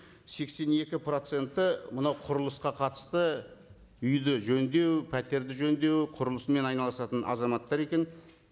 сексен екі проценті мынау құрылысқа қатысты үйді жөндеу пәтерді жөндеу құрылысымен айналысатын азаматтар екен